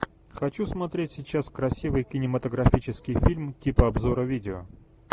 хочу смотреть сейчас красивый кинематографический фильм типа обзора видео